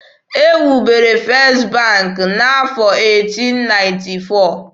E wubere First bank n'afọ 1894.